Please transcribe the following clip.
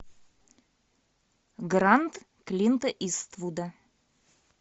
гранд клинта иствуда